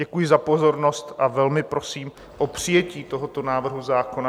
Děkuji za pozornost a velmi prosím o přijetí tohoto návrhu zákona.